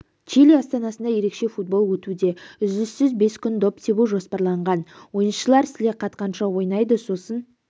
чили астанасында ерекше футбол өтуде үзіліссіз бес күн доп тебу жоспарланған ойыншылар сіле қатқанша ойнайды сосын